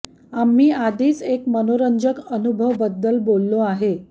आम्ही आधीच एक मनोरंजक अनुभव बद्दल बोललो आहे